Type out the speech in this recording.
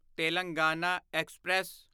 Telangana express